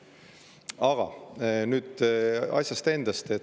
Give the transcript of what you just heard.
Aga nüüd asjast endast.